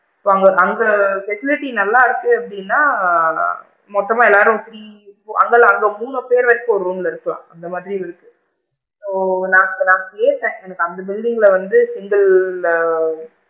So அங்க அங்க facilities நல்லா இருக்கு அப்படின்னா மொத்தமா எல்லாரும் three அங்க அங்க மூணு பேரு வரைக்கும் ஒரு room ல இருக்கலாம் அந்த மாதிரி ஓ! நான் நான் கேட்டேன் எனக்கு அந்த building ல வந்து single ஆ,